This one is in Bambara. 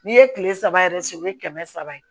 N'i ye kile saba yɛrɛ se u ye kɛmɛ saba ye